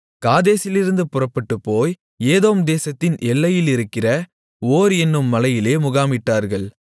காதேசிலிருந்து புறப்பட்டுப்போய் ஏதோம் தேசத்தின் எல்லையிலிருக்கிற ஓர் என்னும் மலையிலே முகாமிட்டார்கள்